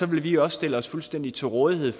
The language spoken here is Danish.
vi også stille os fuldstændig til rådighed